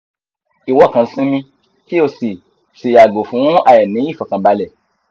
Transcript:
iwo kan sinmi ki o si o si yago fun aini ifokanbale